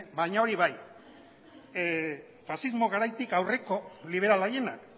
baina hori bai faxismo garaitik aurreko liberal haienak